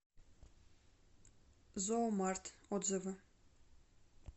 зоомарт отзывы